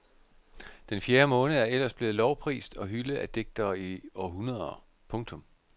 Den fjerde måned er ellers blevet lovprist og hyldet af digtere i århundreder. punktum